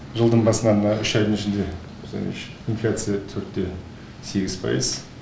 жылдың басынан мына үш айдың ішінде инфляция төрт те сегіз пайыз